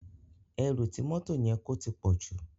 Èrú ti mòtó yèn kó tipòjú